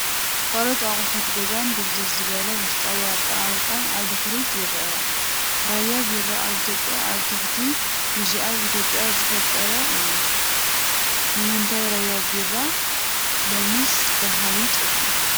ካልኦት ኣቑሑት ገዛን ድብዝዝ ዝበለ ውሽጣዊ ኣቀማምጣን ኣብ ድሕሪት ይርአ። ራያ ቢራ ኣብ ኢትዮጵያ ኣብ ትሕቲ ቢጂኣይ ኢትዮጵያ ዝፍጠር እዩ። ንምንታይ ራያ ቢራ ሎምስ ዳሃዩ ጠፊኡ?